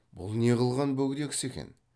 бұл не қылған бөгде кісі екен